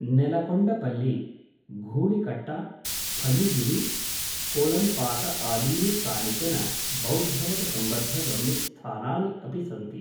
नेलकोण्डपल्लि, घूळिकट्ट, फणिगिरि, कोलन्पाक आदीनि कानिचन बौद्धमतसम्बद्धगम्यस्थानानि अपि सन्ति।